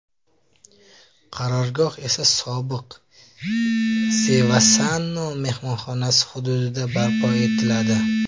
Qarorgoh esa sobiq The Varsano mehmonxonasi hududida barpo etiladi.